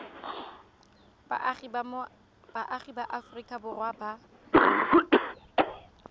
baagi ba aforika borwa ba